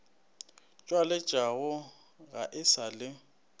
tšwaletšwego ga e sa le